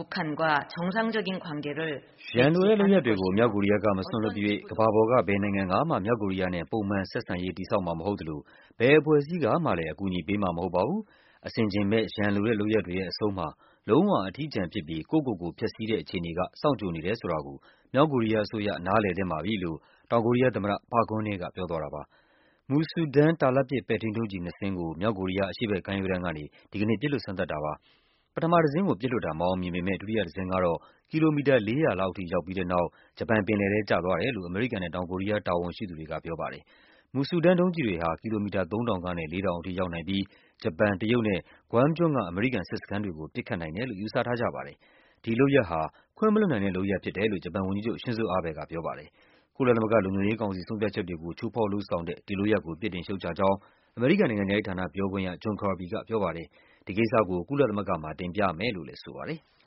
“ရန်လိုတဲ့လုပ်ရပ်တွေကို မြောက်ကိုရီးယားက မစွန့်လွှတ်သရွေ့ ကမ္ဘာပေါ်က ဘယ်နိုင်ငံကမှ မြောက်ကိုရီးယားနဲ့ ပုံမှန် ဆက်ဆံရေး တည်ဆောက်မှာမဟုတ်သလို ဘယ်အဖွဲ့အစည်းကမှလည်း အကူအညီပေးမှာ မဟုတ်ပါဘူး။ အဆင်ခြင်မဲ့ ရန်လိုတဲ့ လုပ်ရပ်တွေရဲ့အဆုံးမှာ လုံး၀ အထီးကျန်ဖြစ်ပြီး ကိုယ့်ကိုယ်ကိုဖျက်ဆီးတဲ့ အခြေအနေက စောင့်ကြိုနေတယ်ဆိုတာကို မြောက်ကိုရီးယားအစိုးရ နားလည်သင့်ပါပြီ။” လို့ တောင်ကိုရီးယားသမ္မတ Park Geun-hye က ပြောသွားတာပါ။ Musudan ပဲ့ထိန်းဒုံးကျည်နှစ်စင်းကို မြောက်ကိုရီးယား အရှေ့ဘက် ကမ်းရိုးတန်းကနေ ဒီကနေ့ပစ်လွှတ်စမ်းသပ်တာပါ။ ပထမ တစင်းကိုပစ်လွှတ်တာ မအောင်မြင်ပေမဲ့ ဒုတိယတစင်းကတော့ ကီလိုမီတာ ၄၀၀ လောက်ထိ ရောက်ပြီး တဲ့နောက် ဂျပန် ပင်လယ်ထဲ ကျသွားတယ်လို့ အမေရိကန်နဲ့ တောင်ကိုရီးယား တာဝန်ရှိသူတွေက ပြောပါတယ်။ Musudan ဒုံးကျည်တွေဟာ ကီလိုမီတာ ၃ ထောင်ကနေ ၄ ထောင် အထိ ရောက်နိုင်ပြီး ဂျပန်၊ တရုတ်နဲ့ Guam ကျွန်းက အမေရိကန်စစ်စခန်းတွေကို ပစ်ခတ်နိုင်တယ်လို့ ယူဆထားကြပါတယ်။ ဒီလုပ်ရပ်ဟာ ခွင့်မလွှတ်နိုင်တဲ့လုပ်ရပ် ဖြစ်တယ်လို့ ဂျပန်ဝန်ကြီးချုပ် Shinzo Abe က ပြောပါတယ်။ ကုလသမဂ္ဂ လုံခြုံရေး ကောင်စီဆုံးဖြတ်ချက်တွေကို ချိုးဖောက် လုပ်ဆောင်တဲ့ ဒီလုပ်ရပ်ကို ပြစ်တင်ရှုတ်ချကြောင်း အမေရိကန်နိုင်ငံခြားရေး ဌာန ပြောခွင့်ရ John Kirby ပြောပါတယ်။ ဒီကိစ္စကို ကုလသမဂ္ဂမှာ တင်ပြမယ်လို့လည်းဆိုပါတယ်။